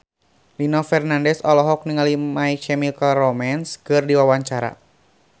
Nino Fernandez olohok ningali My Chemical Romance keur diwawancara